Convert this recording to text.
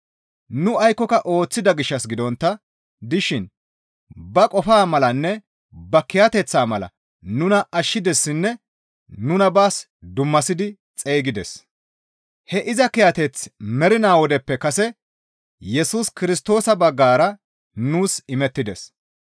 Nu aykkoka ooththida gishshas gidontta dishin ba qofaa malanne ba kiyateththaa mala nuna ashshidessinne nuna baas dummasidi xeygides. He iza kiyateththi mernaa wodeppe kase Yesus Kirstoosa baggara nuus imettides.